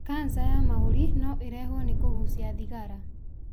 Canca ya mahũri no irehwo nĩ kũgucia thigara.